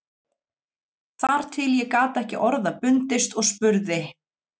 Þar til ég gat ekki orða bundist og spurði